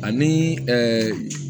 Ani